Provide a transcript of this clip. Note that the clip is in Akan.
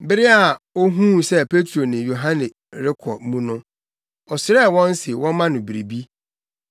Bere a ohuu sɛ Petro ne Yohane rekɔ mu no, ɔsrɛɛ wɔn se wɔmma no biribi.